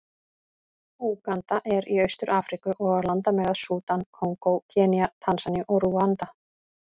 Úganda er í Austur-Afríku, og á landamæri að Súdan, Kongó, Kenía, Tansaníu og Rúanda.